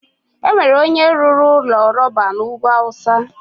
enwere onye rụrụ ụlọ rọba na ugwu awụsa.